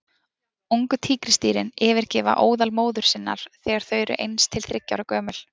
Ungu tígrisdýrin yfirgefa óðal móður sinnar þegar þau eru eins til þriggja ára gömul.